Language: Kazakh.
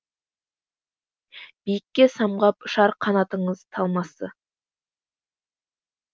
биікке самғап ұшар қанатыңыз талмасы